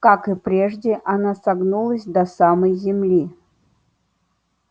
как и прежде оно согнулось до самой земли